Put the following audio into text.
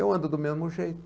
Eu ando do mesmo jeito.